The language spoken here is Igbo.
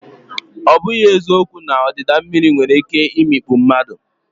Ọ bụghị eziokwu na ọdịda mmiri nwere ike imikpu mmadụ.